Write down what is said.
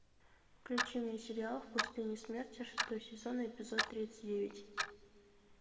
включи мне сериал в пустыне смерти шестой сезон эпизод тридцать девять